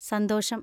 സന്തോഷം.